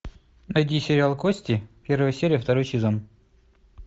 найди сериал кости первая серия второй сезон